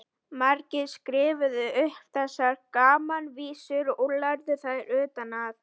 Margir skrifuðu upp þessar gamanvísur og lærðu þær utan að.